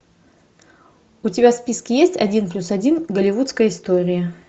у тебя в списке есть один плюс один голливудская история